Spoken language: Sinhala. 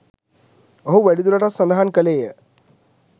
ඔහු වැඩිදුරටත් සඳහන් කළේය.